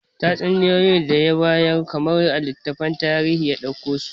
Tatsuniyoyi da ya bayar kamar a littafin tarihi ya dauko su